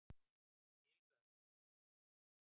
Skil það ekki.